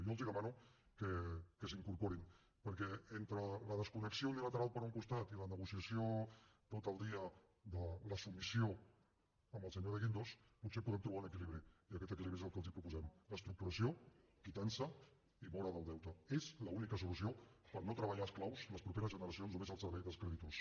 jo els demano que s’hi incorporin perquè entre la desconnexió unilateral per un costat i la negociació tot el dia de la submissió amb el senyor de guindos potser podem trobar un equilibri i aquest equilibri és el que els proposem reestructuració quitança i mora del deute és l’única solució per no treballar esclaus les properes generacions només al servei dels creditors